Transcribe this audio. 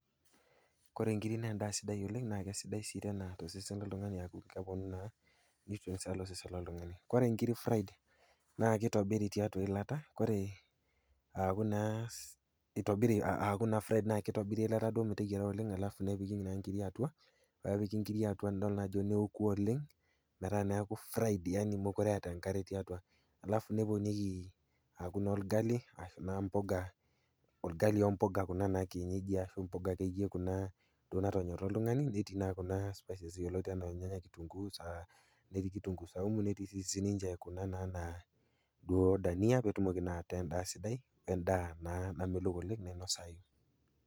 Kore nkirik na endaa sidai oleng nakesidai si tosesen loltungani amu keponu naa, nutrients tosesen loltungani, ore nkirik naa kitobiri tiatua eialata ore aaku naa fried na kitobiri naa eilatamitobiri oleng nepiki naa nkirik atua nidol na ajo neoku oleng neaku mekute eeta nkare tiatua, niponi naa orgali ashu mpuka ,orgali mpuka na kuna kienyeji natonyora oltungani nipik naa kuna spices nijo kitunguu, netii sininche kuna dania petumoki naa endaa ataa sidai endaa naa namelok oleng nainosayu.